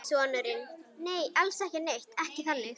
Sonurinn: Nei, alls ekki neitt, ekki þannig.